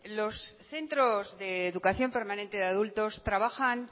los centros de educación permanente de adultos trabajan